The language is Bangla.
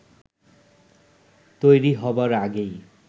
তৈরি হবার আগেই